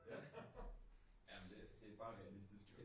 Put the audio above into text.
Ja. Ja men det det bare realistisk jo